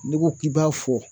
N'i ko k'i b'a fɔ